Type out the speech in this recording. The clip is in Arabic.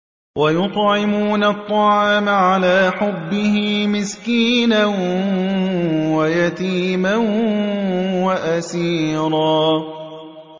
وَيُطْعِمُونَ الطَّعَامَ عَلَىٰ حُبِّهِ مِسْكِينًا وَيَتِيمًا وَأَسِيرًا